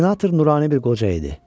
Senator nurani bir qoca idi.